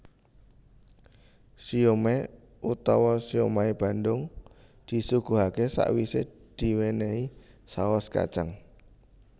Siomai utawa siomai Bandung disuguhaké sawisé diwénéhi saos kacang